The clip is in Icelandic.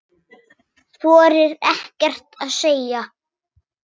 Þorir ekkert að segja.